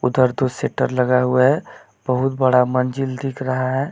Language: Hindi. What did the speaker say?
उधर दो सेटर लगा हुआ है बहुत बड़ा मंजिल दिख रहा है।